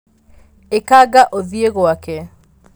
ĩkanga ũthiĩgwake.